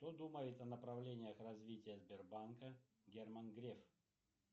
что думает о направлениях развития сбербанка герман греф